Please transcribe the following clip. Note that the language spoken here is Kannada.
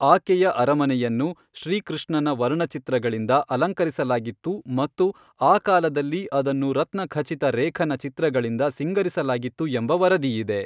ಆಕೆಯ ಅರಮನೆಯನ್ನು ಶ್ರೀ ಕೃಷ್ಣನ ವರ್ಣಚಿತ್ರಗಳಿಂದ ಅಲಂಕರಿಸಲಾಗಿತ್ತು ಮತ್ತು ಆ ಕಾಲದಲ್ಲಿ ಅದನ್ನು ರತ್ನಖಚಿತ ರೇಖನ ಚಿತ್ರಗಳಿಂದ ಸಿಂಗರಿಸಲಾಗಿತ್ತು ಎಂಬ ವರದಿಯಿದೆ.